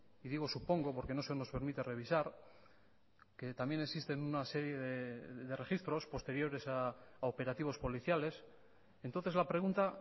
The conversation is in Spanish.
y digo supongo porque no se nos permite revisar que también existen una serie de registros posteriores a operativos policiales entonces la pregunta